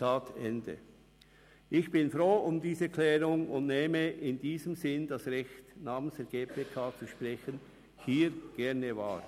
» Ich bin froh um diese Klärung, und in diesem Sinn nehme ich hier gerne das Recht wahr, im Namen der GPK zu sprechen.